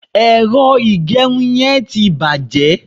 ero igerun yen ti baje